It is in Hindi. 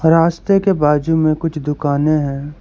रास्ते के बाजू में कुछ दुकानें हैं।